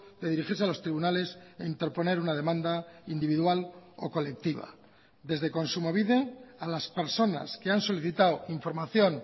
de dirigirse a los tribunales e interponer una demanda individual o colectiva desde kontsumobide a las personas que han solicitado información